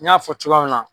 N y'a fɔ cogoya min na